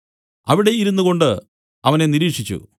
അവിടെ ഇരുന്നുകൊണ്ട് അവനെ നിരീക്ഷിച്ചു